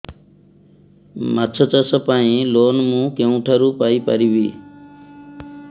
ମାଛ ଚାଷ ପାଇଁ ଲୋନ୍ ମୁଁ କେଉଁଠାରୁ ପାଇପାରିବି